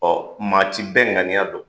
Ɔ maa ti bɛɛ ŋaniya don!